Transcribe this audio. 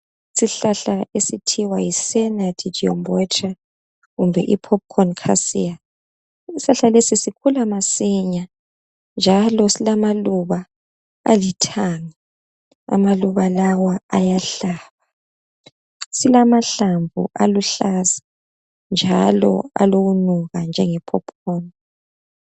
Isihlahla esithiwa yi Senna didymobotra kumbe i phophukhoni khasiya. Isihlahla lesi sikhula masinya njalo silamaluba alithanga. Amaluba lawa ayahlaba, silamahlamvu aluhlaza njalo alokunuka njenge phophukhoni.